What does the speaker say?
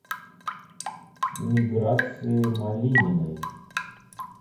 миграции малининой